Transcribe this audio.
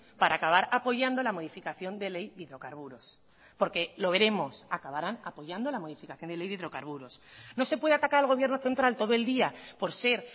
para acabar apoyando la modificación de ley de hidrocarburos porque lo veremos acabarán apoyando la modificación de ley de hidrocarburos no se puede atacar al gobierno central todo el día por ser